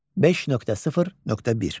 5.0.1.